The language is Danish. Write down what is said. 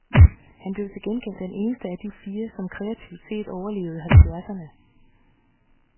Han blev til gengæld den eneste af de fire, som kreativt set overlevede i halvfjerdserne.